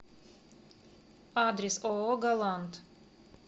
адрес ооо галант